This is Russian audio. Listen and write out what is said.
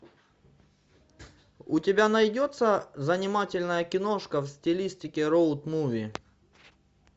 у тебя найдется занимательная киношка в стилистике роуд муви